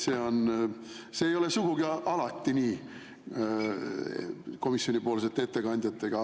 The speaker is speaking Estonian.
See ei ole sugugi alati nii komisjonipoolsete ettekandjate puhul.